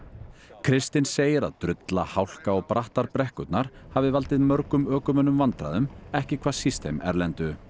kristinn segir að drulla hálka og brattar brekkurnar hafi valdið mörgum ökumönnum vandræðum ekki hvað síst þeim erlendu